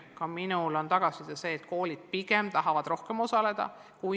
Ka mina olen saanud tagasisidet, et koolid pigem tahavad rohkem osaleda.